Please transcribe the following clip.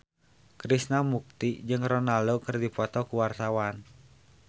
Krishna Mukti jeung Ronaldo keur dipoto ku wartawan